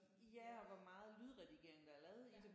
Ja og hvor meget lydredigering der er lavet i det